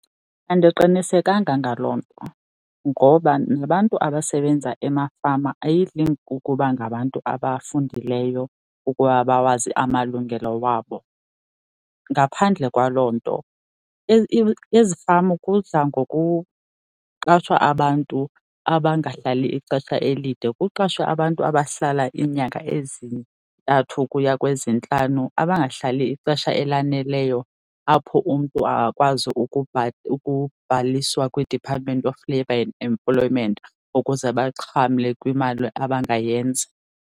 Andiqinisekanga ngaloo nto ngoba nabantu abasebenza emafama ayidli ngokuba ngabantu abafundileyo ukuba bawazi amalungelo wabo. Ngaphandle kwaloo nto, ezifama kudla ngokuqeshwa abantu abangahlali ixesha elide, kuqashwe abantu abahlala iinyanga ezintathu ukuya kwezintlanu abangahlali ixesha elaneleyo apho umntu angakwazi ukubhaliswa kwiDepartment of Labor and Employment ukuze baxhamle kwimali abangayenza.